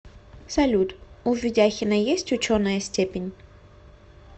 салют у ведяхина есть ученая степень